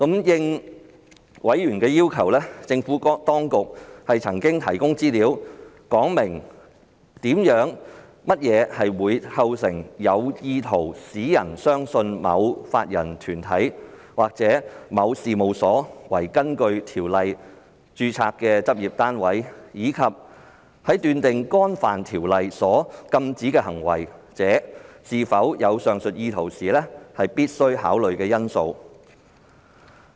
應委員要求，政府當局曾提供資料，說明甚麼會構成有意圖使人相信某法人團體或某事務所為根據《條例》註冊的執業單位，以及在斷定干犯《條例》所禁止的行為者是否有上述意圖時必須考慮的因素。